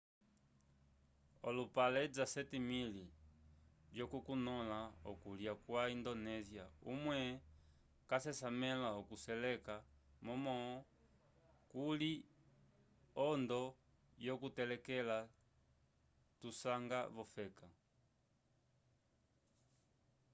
olupale 17.000 lyo ku nola okulya kwa indonesia umwe casesamela okuseleka momo kuly ondo yo kuteleka tu sanga vo feka